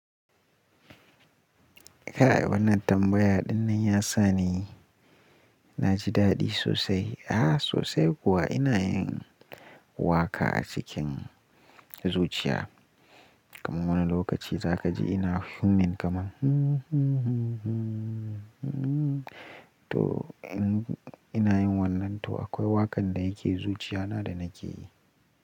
Kai! Wannan tambaya ɗinnan ya sani na ji daɗi sosai. A'a sosai kuwa ina yin waƙa a cikin zuciya. Kaman wani lokaci zaka ji ina humming kaman hmmm hmmm hmmm hmmm hmmm to ina yin wannan to akwai waƙar da yake zuciya na da nake yi.